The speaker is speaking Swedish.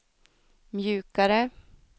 mjukare